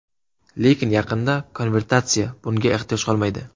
Lekin, yaqinda konvertatsiya bunga ehtiyoj qolmaydi.